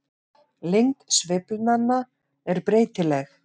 Lengd sveiflanna er breytileg.